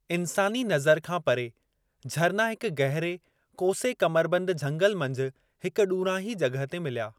इंसानी नज़र खां परे, झरना हिक गहरे कोसे कमरबन्द झंगल मंझि हिकु ॾूरांहीं जॻह ते मिलिया।